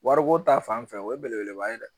Wariko ta fanfɛ o ye belebeleba ye dɛ